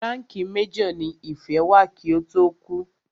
Ránkìì major ní Ìfẹ́ wà kí ó tó kú.